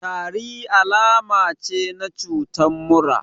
Tari alama ce na cutan mura